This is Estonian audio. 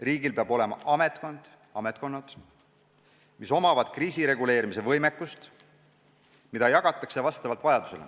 Riigil peab olema ametkond või ametkonnad, millel on kriisireguleerimise võimekus, mida jagatakse vastavalt vajadusele.